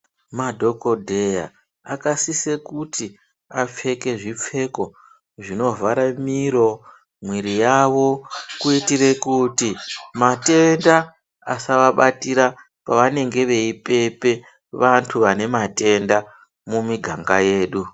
Madhokodheya akasisa kuti apfeke zvipfeko zvinovhara miro , mwiri yavo kuitire kuti matenda asavabatira pavanenge veipepe vantu vane matenda mumiganga yedu.